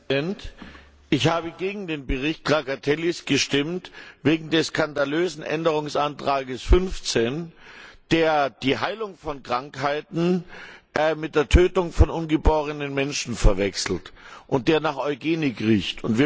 Herr Präsident! Ich habe gegen den Bericht Trakatellis gestimmt wegen des skandalösen Änderungsantrags 15, der die Heilung von Krankheiten mit der Tötung von ungeborenen Menschen verwechselt und nach Eugenik riecht.